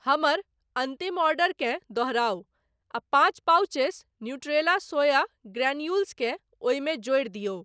हमर अन्तिम ऑर्डरकेँ दोहराउ आ पाँच पॉउचेस न्यूट्रेला सोया ग्रेन्यूल्स केँ ओहिमे जोड़ि दियौ।